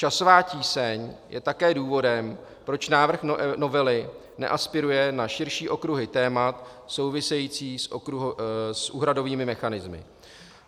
Časová tíseň je také důvodem, proč návrh novely neaspiruje na širší okruhy témat související s úhradovými mechanismy.